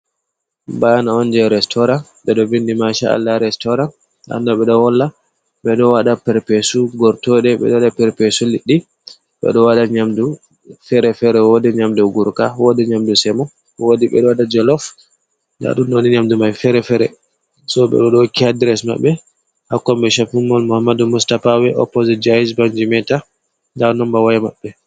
Bana on je restoran ɓe ɗo vindi ma sha’alla restaurant, nda ɗum ɗobe do wolla ɓe ɗo waɗa perpesu gortoɗe, be ɗo wada perpesu liɗɗi, ɓe ɗo waɗa nyamdu fere fere, wodi nyamdu gurka, wodi nyamdu semo, wodi ɓeɗo waɗa jelof nda ɗum di nyamdu mai fere-fere so ɓeɗo ɗo hokki adres maɓbe ha kombi shop in mol mo ammadu mustapa wey opposit jaiz bank jimeta nda nomba waya maɓɓe.